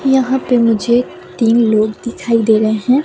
यहाँ पे मुझे तीन लोग दिखाई दे रहे हैं।